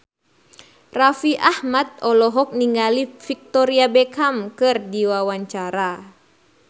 Raffi Ahmad olohok ningali Victoria Beckham keur diwawancara